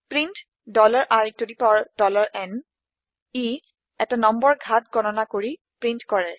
print iনএ এটা নম্বৰ ঘাত গণনা কৰি প্ৰীন্ট কৰে